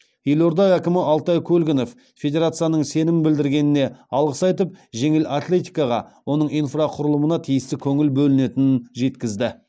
елорда әкімі алтай көлгінов федерацияның сенім білдіргеніне алғыс айтып жеңіл атлетикаға оның инфрақұрылымына тиісті көңіл бөлінетінін жеткізді